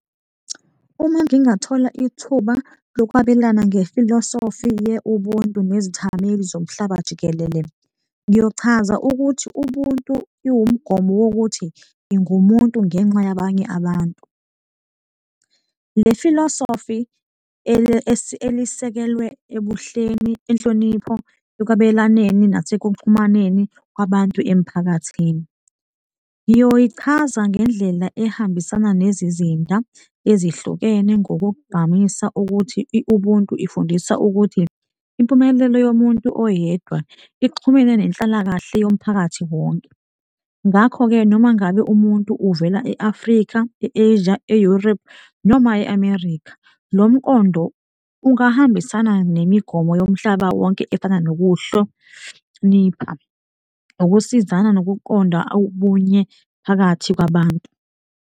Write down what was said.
Uma ngingathola ithuba lokwabelana nge-philosophy ye-Ubuntu nezithameli zomhlaba jikelele, ngiyochaza ukuthi ubuntu iwumgomo wokuthi ngingumuntu ngenxa yabanye abantu. Le-philosophy elisekelwe ebuhleni, inhlonipho ekwabelwaneni nasekuxhumaneni kwabantu emphakathini. Ngiyoyichaza ngendlela ehambisana nezizinda ezihlukene ngokokugqamisa ukuthi ubuntu ifundisa ukuthi impumelelo yomuntu oyedwa ixhumene nenhlalakahle yomphakathi wonke. Ngakho-ke noma ngabe umuntu uvela e-Afrika, e-Asia, e-Europe noma e-America, lo mqondo ungahambisana nemigomo yomhlaba wonke efana nokuhlonipha ukusizana nokuqonda ubunye phakathi kwabantu.